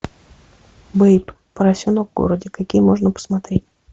бэйб поросенок в городе какие можно посмотреть